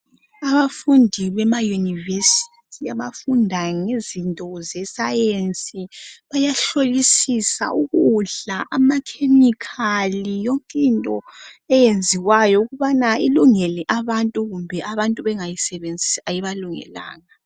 Abafundi bema "University" abafunda ngezinto ze"Science" bayahlolisisa ukudla ama "chemical" yonkinto eyenziwayo ukubana ilungele abantu kumbe abantu bengayisebenzisi ayibalungelanga.